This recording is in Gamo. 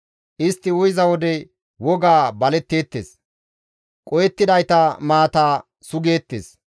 Istti uyiza wode wogaa baletteettes; qohettidayta maata sugeettes.